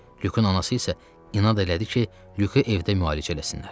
Lükun anası isə inad elədi ki, Lükü evdə müalicə eləsinlər.